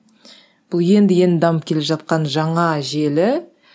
бұл енді енді дамып келе жатқан жаңа желі